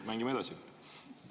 Mängime edasi!